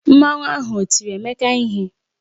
Mmanwu ahụ o tiri Emeka ihe?